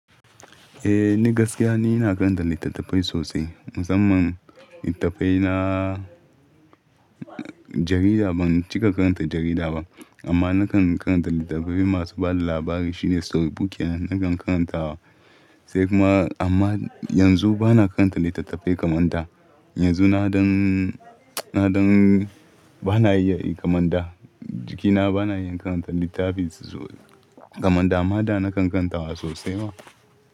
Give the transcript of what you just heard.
Eh, ni gaskiya ni na karanta littattafai sosai, musamman littattafai na jarida ban cika karanta jarida ba, amma nakan karanta littattafai masu bada labari shine storybook ne nakan karanta wa. Sai kuma amma yanzu bana karanta littattafai kamar da. Yanzu na ɗan, na ɗan bana iya kamar da, jikina bana iya karanta littafi kamar da, amma da nakan karanta wa sosai ma.